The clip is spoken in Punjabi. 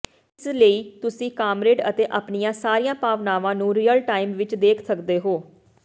ਇਸ ਲਈ ਤੁਸੀਂ ਕਾਮਰੇਡ ਅਤੇ ਆਪਣੀਆਂ ਸਾਰੀਆਂ ਭਾਵਨਾਵਾਂ ਨੂੰ ਰੀਅਲ ਟਾਈਮ ਵਿੱਚ ਦੇਖ ਸਕਦੇ ਹੋ